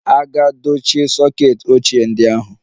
A ga-dochie soket ochie ndị ahụ.